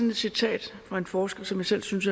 et citat fra en forsker som jeg selv synes